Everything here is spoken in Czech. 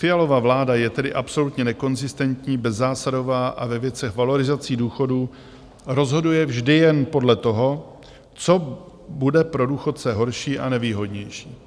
Fialova vláda je tedy absolutně nekonzistentní, bezzásadová a ve věcech valorizací důchodů rozhoduje vždy jen podle toho, co bude pro důchodce horší a nevýhodnější.